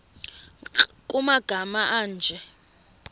nkr kumagama anje